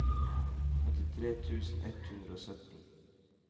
åttitre tusen ett hundre og sytten